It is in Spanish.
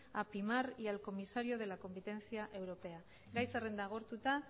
a primar y al comisario de la competencia europea gai zerrenda agortuta